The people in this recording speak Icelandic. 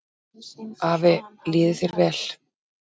Afi, líði þér vel.